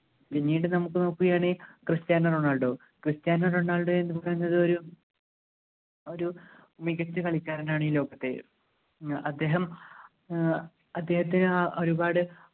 പിന്നീട് നമുക്ക് നോക്കുകയാണെങ്കിൽ ക്രിസ്റ്റാനോ റൊണാൾഡോ ക്രിസ്റ്റാനോ റൊണാൾഡോയെ നമുക്ക് ന്ത ഒരു ഒരു മികച്ച കളിക്കാരനാണ് ഈ ലോകത്തെ ഏർ അദ്ദേഹം ഏർ അദ്ദേഹത്തെ ആഹ് ഒരുപാട്